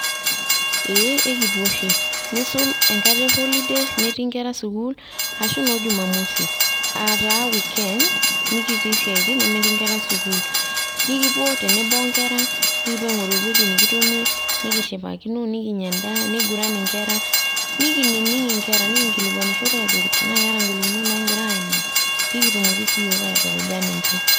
Ee ekipuo oshi ,neisul enkata e holiday metii inkera sukuul ashu noo jumamosi aa taa weekend mikitii siatin nemetii inkera sukuul, nikipuo tenebo onkera nikipuo aingoru ewueji nikitonie ,nikishipakino , nikinya endaa ,niguran inkera ,nikinining inkera, nikikilikwanishore ajoki tenaa keeta ingolikinot naagira aimaa pekitumoki siiyiook aitukuja ninche.